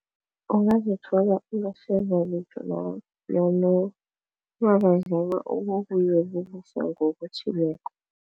Ungazithola